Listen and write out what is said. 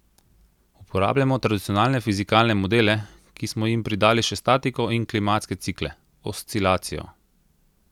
Uporabljamo tradicionalne fizikalne modele, ki smo jim pridali še statistiko in klimatske cikle, oscilacijo.